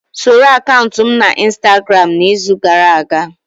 Soro akaụntụ m na Instagramu n'izu gara aga?